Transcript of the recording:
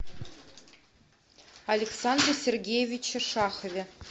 александре сергеевиче шахове